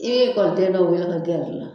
I bɛ ekɔliden dɔ wele ka gɛrɛ i la